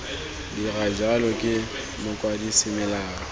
dira jalo ke mokwadise melao